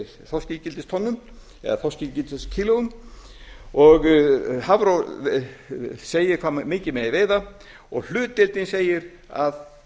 þorskígildistonnum eða þorskígildiskílóum og hafró segir hve mikið megi veiða og hlutdeildin sem segir að